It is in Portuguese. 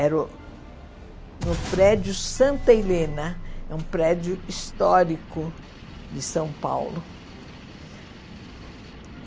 Era uh no prédio Santa Helena, um prédio histórico de São Paulo.